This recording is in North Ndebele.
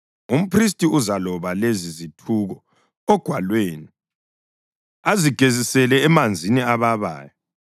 Umphristi uzaloba lezi zithuko ogwalweni azigezisele emanzini ababayo.